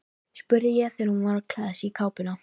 spurði ég þegar hún var að klæða sig í kápuna.